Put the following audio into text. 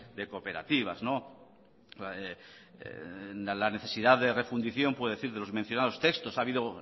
de cooperativas la necesidad de refundición puede decir de los mencionados textos ha habido